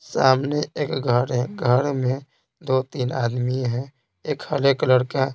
सामने एक घर है घर में दो-तीन आदमी हैं एक हरे कलर का--